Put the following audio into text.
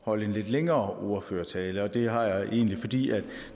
holde en lidt længere ordførertale det har jeg egentlig fordi